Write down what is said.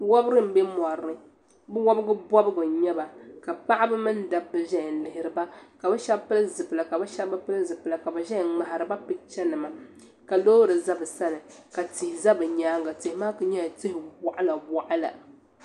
Wobigu n bɛ mori ni bi wobiri bɔbigu n yɛba ka paɣiba mini dabba zaya n lihiri ba ka bi shɛba pili zipila ka shɛba bi pili zipila ka bi zɛya n ŋmahiriba picha nima ka loori za bi sani ka tihi za bi yɛanga tihi maa ku yɛla tihi wɔɣila wɔɣila.